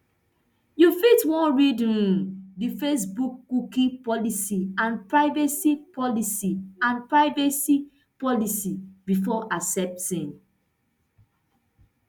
you fit wan read um di facebook cookie policy and privacy policy and privacy policy before accepting